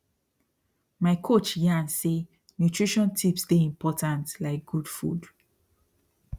my coach yarn say nutrition tips dey important like good food